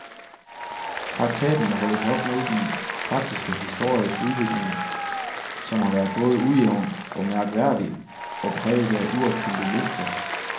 Traktaten må holdes op mod den faktiske historiske udvikling, som har været både ujævn og mærkværdig, og præget af uopfyldte løfter.